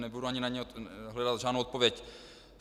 Nebudu ani na ně hledat žádnou odpověď.